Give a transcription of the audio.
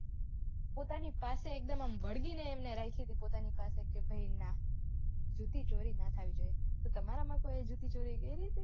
પોતાની પાસે એકદમ આમ વળગીને એમને રાખી હતી પોતાની પાસે કે ભાઈ ન જુતી ચોરી ના થવી જોઈએ કે તમારામાં કોઈએ જુતી ચોરી કયરી હતી